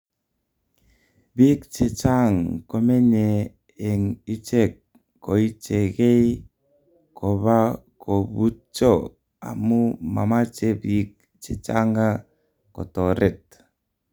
Bik chechang komenyee eng ichek koichekei kobakobutcho amu mamache bik chechanga kotoret.